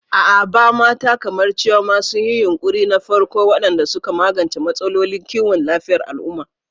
A Aba, mata kamar Chioma sun yi yunƙuri na farko waɗanda suka magance matsalolin kiwon lafiyar al'umma.